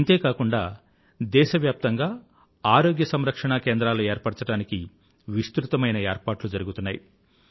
ఇంతే కాకుండా దేశవ్యాప్తంగా ఆరోగ్య సంరక్షణా కేంద్రాలుహెల్త్ వెల్నెస్ సెన్రెస్ ఏర్పరచడానికి విస్తృతమైన ఏర్పాట్లు జరుగుతున్నాయి